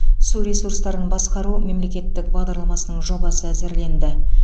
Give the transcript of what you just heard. су ресурстарын басқару мемлекеттік бағдарламасының жобасы әзірленді